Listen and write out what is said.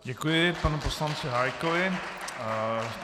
Děkuji panu poslanci Hájkovi.